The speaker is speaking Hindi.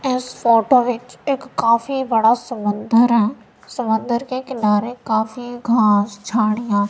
इस फोटो बीच एक काफी बड़ा समंदर है समंदर के किनारे काफी घास झाड़ियाँ--